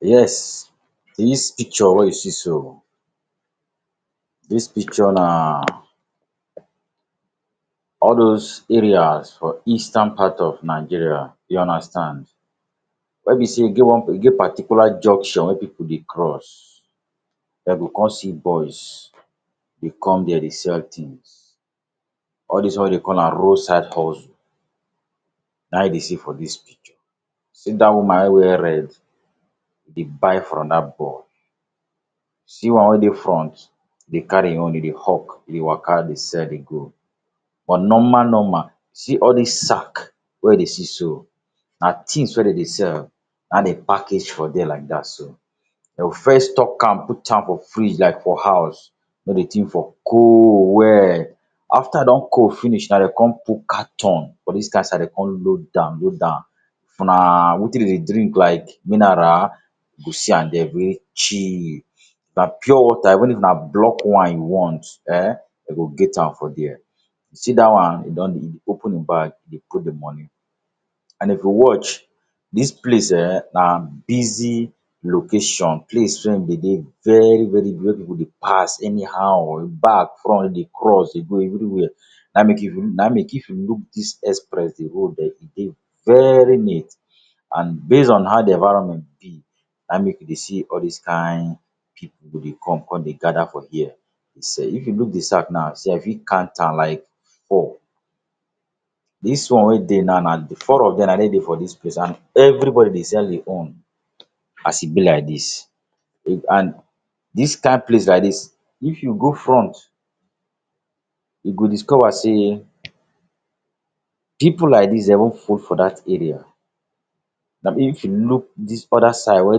Yes, dis picture wey you see so, dis picture na all dos areas for eastern part of Nigeria, you understand, wey be sey e get one e get particular junction wey pipu dey cross, dem go come see boys dey come there dey sell things. All dis one wey dem call am road side hustle na you dey see for dis picture. See that woman wey wear red dey buy from that boy. See one wey dey front dey carry im own, e dey hawk e dey waka dey sell dey go. But, normal normal see all dis sack wey you dey see so na things wey dem dey sell na dem package for there like that. Dem go first stock am, put am for freezer for house make de thing for cold well. After e don cold finish na dem come put carton for dis, dem come load am, load am. If na wetin dem dey drink like mineral, you go see am there wey chilled. Na pure water, even if na blocked wine once um dem go get am for there. You see that one e don dey e dey open im bag, e dey put de money. And if you watch, dis place um na busy location, place wey dey dey very very very wey pipu dey pass anyhow, back, front, dem dey cross, dey go everywhere. Na make if you look na make if you look dis express de road um e dey very neat. And based on how de environment be na make you dey see all these kind pipu go dey come come dey gather for here dey sell. If you look de sack now, see you fit count am like four. Dis one wey dey now na de four of dem na dem dey for dis place and everybody dey sell im own as e be like dis. and dis kind place like dis, if you go front, you go discover sey pipu like dis dem for that area. if you look dis other side wey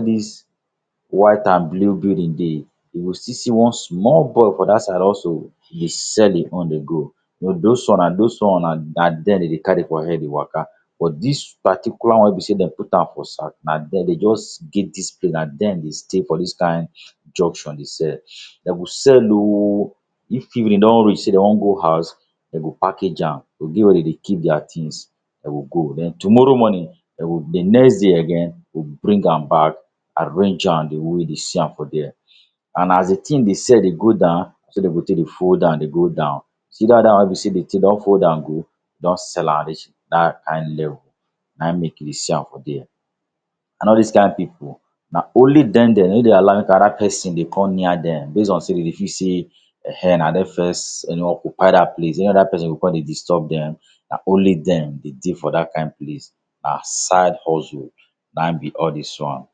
dis white and blue building dey, you go still see one small boy for that side also dey sell im own dey go. You know those one na those one na na there dem dey carry for head dey waka. But, dis particular one wey be sey dem put am for sack na dem dey just give dis place. Na dem dey stay for dis kind junction dey sell. Dem go sell o. If evening don reach sey dem want go house, dem go package am. E get where dem dey keep their things. Dem go go. Then, tomorrow morning, dem go de next day again dem go bring am back, arrange am de way you see am for there. And as di thing dey sell dey go down, na so dem go take dey fold am dey go down. See that other one wey be sey de thing done fold down go don sell am reach that kind level, na make you dey see am for there. And all these kind pipu na only dem dem Dem no dey allow make another person dey come near dem, based on sey dem dey feel sey ehen na dem first you know occupy that place. Any other person go come dey disturb dem, na only dem dey dey for that kind place as side hustle na be all dis one.